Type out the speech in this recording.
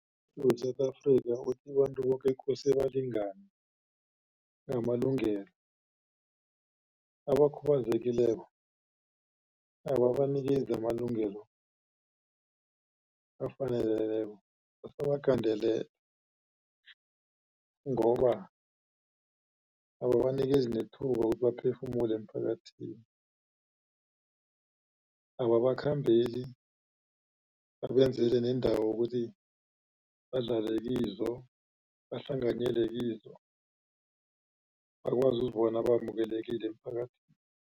we-South Africa uthi abantu boke kufuze balingane ngamalungelo. Abakhubazekileko ababanikezi amalungelo bayabagandelela ngoba ababanikezi nethuba ukuthi baphefumula emphakathini. Ababakhambeli babenzele neendawo ukuthi badlale kizo, bahlanganyele kizo, bakwazi ukuzibona bamkelekile emphakathini.